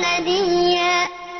نَدِيًّا